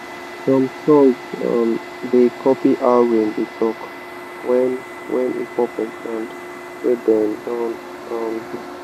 some songs um da copy how rain dey talk wen wen e fall for ground wey dem don um dig.